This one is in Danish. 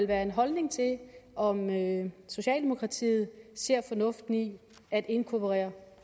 være en holdning til om socialdemokratiet ser fornuften i at inkorporere